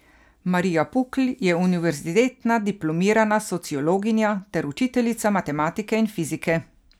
Marija Pukl je univerzitetna diplomirana sociologinja ter učiteljica matematike in fizike.